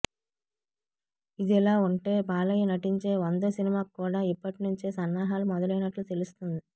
ఇదిలా ఉంటే బాలయ్య నటించే వందో సినిమాకు కూడా ఇప్పట్నుంచే సన్నాహాలు మొదలైనట్లు తెలుస్తోంది